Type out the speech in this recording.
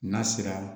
N'a sera